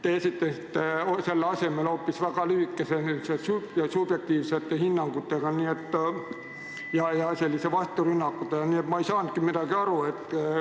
Te esitasite selle asemel hoopis väga lühikese, subjektiivsete hinnangutega ja vasturünnakutega vastuse, nii et ma ei saanud midagi aru.